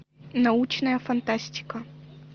научная фантастика